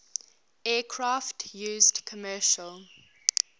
aircraft used commercial